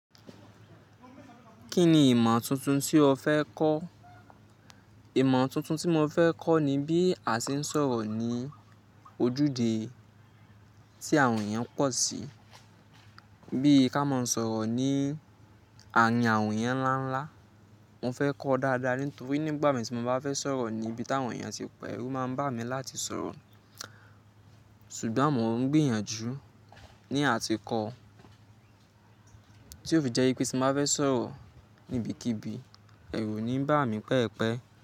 Kí ni ìmọ̀ tuntun tí o fẹ́ kọ́? Ìmọ̀ tuntun tí mo fẹ́ kọ́ ni bí a ṣe ń sọ̀rọ̀ ní ojúde tí àwọn èèyàn pọ̀ sí. Bí ka máa ń sọ̀rọ̀ ní àárín àwọn èèyàn ńlá ńlá. Mo fẹ́ kọ́ dáadáa nítorí nígbà mìíràn tí mo bá fẹ́ sọ̀rọ̀ ní ibi tí àwọn èèyàn ti pọ̀, ẹ̀rù máa ń bà mí láti sọ̀rọ̀. Ṣùgbọ́n mo ń gbìyànjú ní à ti kọ́, tí ó fi jẹ́ pé tí mo bá fẹ́ sọ̀rọ̀ níbikíbi, ẹ̀rù ò ní bà mí pẹ́ẹ̀pẹ́